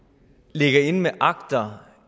ligger inde med akter